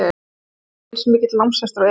Hann er ekki eins mikill námshestur og Eva.